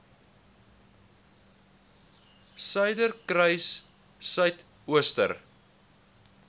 suiderkruissuidooster